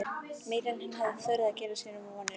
Meira en hann hafði þorað að gera sér vonir um.